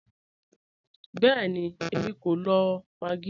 Bẹẹ̀ni, èmi kò lọ maggi.